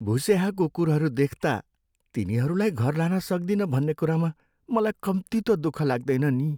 भुस्याहा कुकुरहरू देख्ता तिनीरूलाई घर लान सक्दिनँ भन्ने कुरामा मलाई कम्ती त दुःख लाग्दैन नि।